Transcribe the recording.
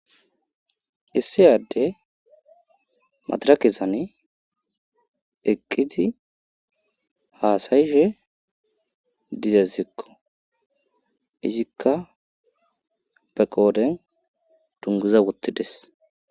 Issiyadde madirakezane eqqizi haasayishe dizezikko izikka beqooden dunguza wottides